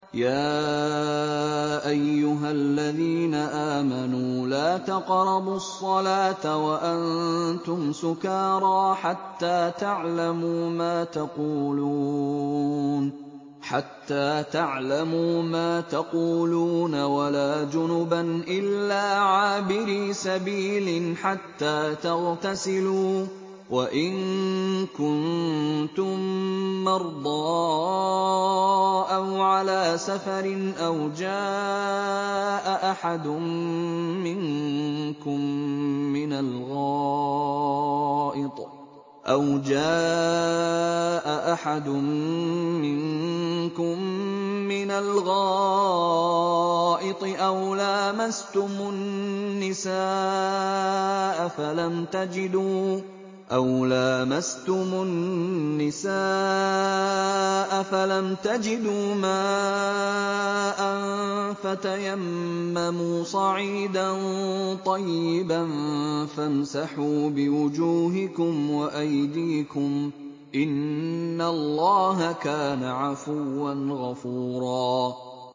يَا أَيُّهَا الَّذِينَ آمَنُوا لَا تَقْرَبُوا الصَّلَاةَ وَأَنتُمْ سُكَارَىٰ حَتَّىٰ تَعْلَمُوا مَا تَقُولُونَ وَلَا جُنُبًا إِلَّا عَابِرِي سَبِيلٍ حَتَّىٰ تَغْتَسِلُوا ۚ وَإِن كُنتُم مَّرْضَىٰ أَوْ عَلَىٰ سَفَرٍ أَوْ جَاءَ أَحَدٌ مِّنكُم مِّنَ الْغَائِطِ أَوْ لَامَسْتُمُ النِّسَاءَ فَلَمْ تَجِدُوا مَاءً فَتَيَمَّمُوا صَعِيدًا طَيِّبًا فَامْسَحُوا بِوُجُوهِكُمْ وَأَيْدِيكُمْ ۗ إِنَّ اللَّهَ كَانَ عَفُوًّا غَفُورًا